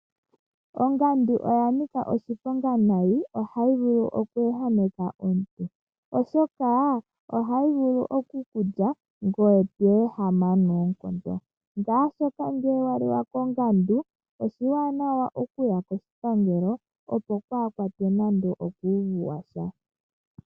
Ongandu oya nika oshiponga noonkondo. Ohayi vulu oku ehameka omuntu, oshoka ohayi vulu oku ku lya ngoye to ehama noonkondo. Ngele owa lika kongandu oshiwanawa okuya koshipangelo, opo waa kwatwe nando okuuvu wa sha.